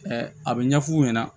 a bɛ ɲɛ f'u ɲɛna